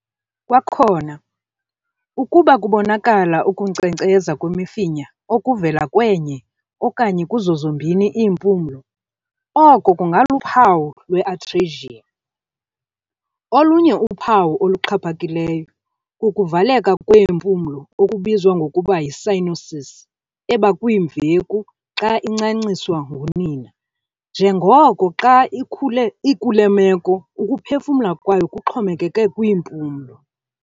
Kwakhona, ukuba kubonakala ukunkcenkceza kwemifinya okuvela kwenye okanye kuzo zombini iimpumlo, oko kungaluphawu lwe- atresia. Olunye uphawu oluxhaphakileyo kukuvaleka kweempulo okubizwa ngokuba yi-cyanosis ebakwimveku xa incanciswa ngunina, njengoko xa ikule meko ukuphefumla kwayo kuxhomekeke kwiimpumlo.